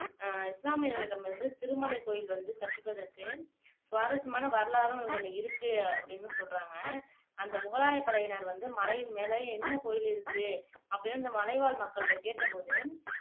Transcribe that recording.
ஆஹ் இஸ்லாமியர்களிடமிருந்து திருமலை கோயில் வந்து தப்பிப்பதற்கு சுவாரஸ்யமான வரலாறும் ஒன்னு இருக்கு அப்படின்னும் சொல்றாங்க அந்த முகலாயப்படையினர் வந்து மலையின் மேல என்ன கோயில் இருக்கு அப்படின்னு அந்த மலைவாழ் மக்கள்கிட்ட கேட்டபோது